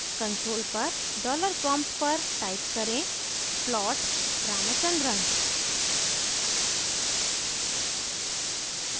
console पर $prompt पर type करें plot ramachandran